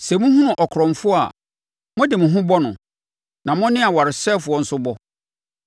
Sɛ mohunu ɔkorɔmfoɔ a, mode mo ho bɔ no; na mo ne awaresɛefoɔ nso bɔ.